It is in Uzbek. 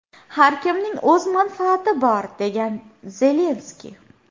Har kimning o‘z manfaati bor”, degan Zelenskiy.